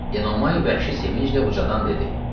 Enomay vəhşi sevinclə ucadan dedi: